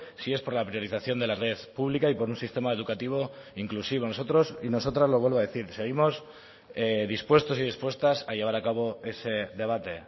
si es por la priorización de la red pública y por un sistema educativo inclusivo nosotros y nosotras lo vuelvo a decir seguimos dispuestos y dispuestas a llevar a cabo ese debate